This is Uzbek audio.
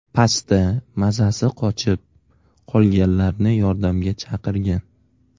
Pastda mazasi qochib, qolganlarni yordamga chaqirgan.